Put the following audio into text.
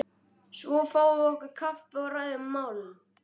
Svo fáum við okkur kaffi og ræðum málin.